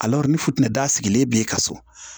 ni fitinɛ da sigilen b'e kan so